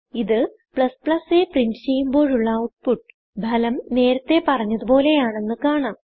ഇത് aപ്രിന്റ് ചെയ്യുമ്പോഴുള്ള ഔട്ട്പുട്ട് ഭലം നേരത്തെ പറഞ്ഞത് പോലെയാണെന്ന് കാണാം